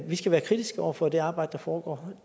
vi skal være kritiske over for det arbejde der foregår